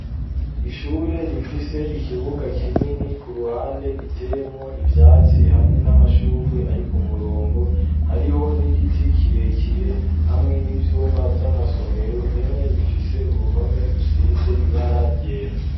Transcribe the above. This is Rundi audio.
Ishure rifise ikibuga kinini, ku ruhande giteyemwo ivyatsi hamwe n'amashugwe ari ku murongo, hariho n'igiti kirekire hamwe n'ivyumba vy'amasomero, bimwe bifise uruhome rusize ibara ryera.